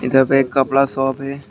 इधर पे एक कपड़ा शॉप है।